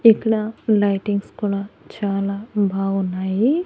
ఇక్కడ లైటింగ్స్ కూడా చాలా బావున్నాయి.